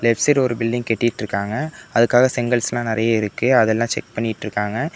சிறு ஒரு பில்டிங் கட்டிட்டு இருக்காங்க அதுக்காக செங்கல்ஸ் லா நறைய இருக்கு அதெல்லாம் செக் பண்ணிட்டு இருக்காங்க.